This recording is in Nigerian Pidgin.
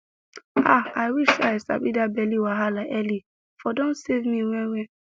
ah i wish say i sabi that belly wahala early for don save me well well